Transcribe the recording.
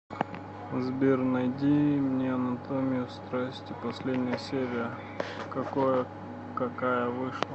сбер найди мне анатомию страсти последняя серия какое какая вышла